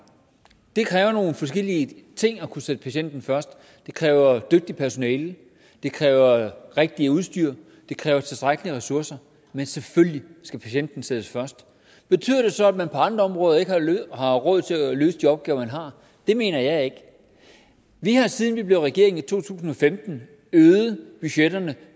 det kræver nogle forskellige ting at kunne sætte patienten først det kræver et dygtigt personale det kræver det rigtige udstyr og det kræver tilstrækkelige ressourcer men selvfølgelig skal patienten sættes først betyder det så at man på andre områder ikke har råd til at løse de opgaver man har det mener jeg ikke vi har siden vi blev regering i to tusind og femten øget budgetterne